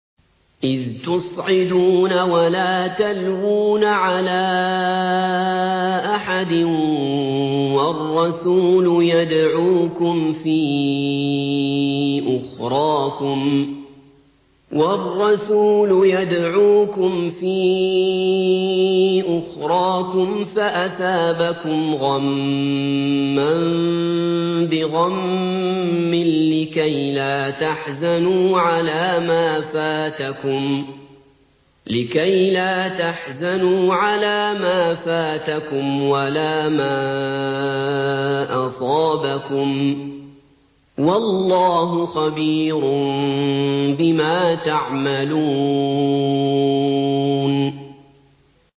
۞ إِذْ تُصْعِدُونَ وَلَا تَلْوُونَ عَلَىٰ أَحَدٍ وَالرَّسُولُ يَدْعُوكُمْ فِي أُخْرَاكُمْ فَأَثَابَكُمْ غَمًّا بِغَمٍّ لِّكَيْلَا تَحْزَنُوا عَلَىٰ مَا فَاتَكُمْ وَلَا مَا أَصَابَكُمْ ۗ وَاللَّهُ خَبِيرٌ بِمَا تَعْمَلُونَ